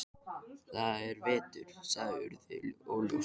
Það er veturinn- sagði Urður óljóst.